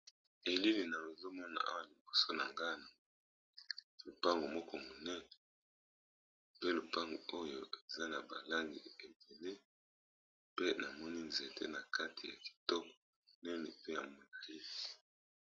Elili namoni liboso na ngai eza lopango munene eza na ba langi ebele pe namoni nzete nakati ya molayi .